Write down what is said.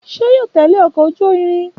Ṣé yóò tẹle ọkọ ojú irin?